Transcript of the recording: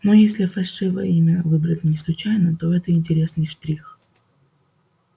но если фальшивое имя выбрано не случайно то это интересный штрих